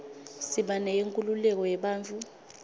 siba neyenkhululeko yebantfu